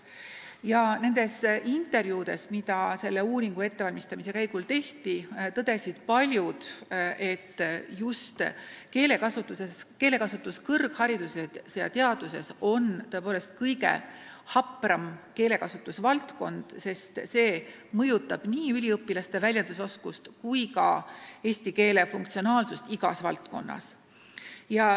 Ja nendes intervjuudes, mida selle uuringu ettevalmistamise käigus tehti, tõdesid paljud, et just keelekasutus kõrghariduses ja teadustöös on tõepoolest kõige tundlikum keelekasutusvaldkond, sest see mõjutab nii üliõpilaste väljendusoskust kui ka eesti keele funktsionaalsust igas valdkonnas.